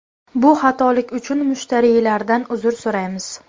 Bu xatolik uchun mushtariylardan uzr so‘raymiz.